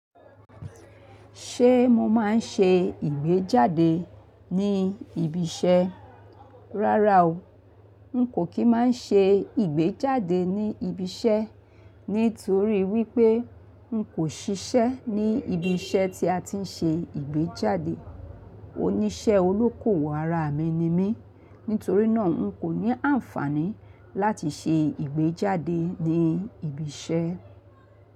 Ṣé mo máa ń ṣe ìgbéjáde ní ibi iṣẹ́? Rárá o, n kò kí máa ṣe ìgbéjáde ní ibi iṣẹ́ nítorí wípé n kò ṣiṣẹ́ ní ibi iṣẹ́ tí a ti ń ṣe ìgbéjáde. Oníṣẹ́ olókòwò ara mi ni mí. Nítorí náà n kò ní àǹfààní láti ṣe ìgbéjáde ní ibi iṣẹ́